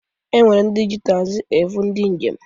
E nwere ndị ji taxi ebụ ndị njem.